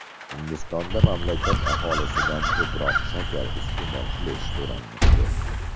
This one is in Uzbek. Hindistonda mamlakat aholisidan ko‘proq shakar iste’mol qilish so‘ralmoqda.